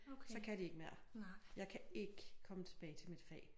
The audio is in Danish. Så kan de ikke mere jeg kan ikke komme tilbage til mit fag